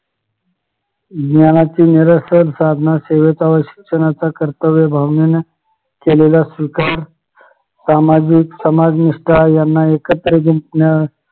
ज्ञानाचे निरसन साधणार सेवेचा व शिक्षणाचा खर्च कर्तव्य भावनेने केलेला असतो सामाजिक समाज निष्ठा यांना एकत्र